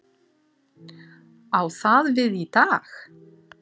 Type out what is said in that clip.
Á það við í dag?